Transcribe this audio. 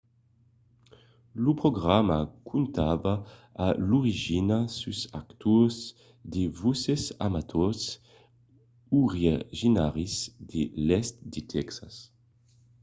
lo programa comptava a l'origina sus d'actors de voses amators originaris de l'èst de tèxas